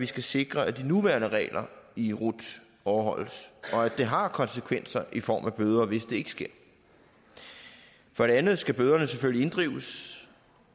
skal sikre at de nuværende regler i rut overholdes og at det har konsekvenser i form af bøder hvis det ikke sker for det andet skal bøderne selvfølgelig inddrives